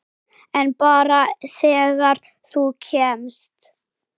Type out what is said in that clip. En bara þegar þú kemst.